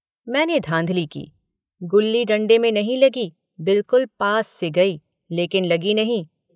मैंने धाँधली की गुल्ली डण्डे में नहीं लगी बिलकुल पास से गई लेकिन लगी नहीं।